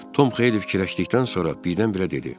Tom xeyli fikirləşdikdən sonra birdən-birə dedi: